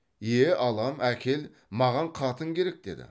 е алам әкел маған қатын керек деді